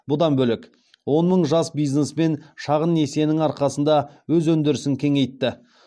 бұдан бөлек он мың жас бизнесмен шағын несиенің арқасында өз өндірісін кеңейтті